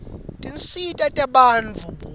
tinsita tebantfu buve